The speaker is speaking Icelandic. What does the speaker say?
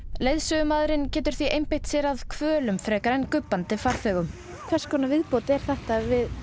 leiðsögumaðurinn getur því einbeitt sér að hvölum frekar en gubbandi farþegum hvers konar viðbót er þetta við